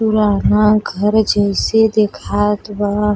पुराना घर जैसे देखात बा।